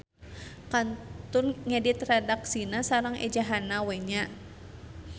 Kantun ngedit redaksina sareng ejahanna we nya.